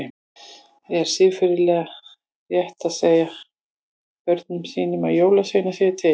Er siðferðilega rétt að segja börnum sínum að jólasveinar séu til?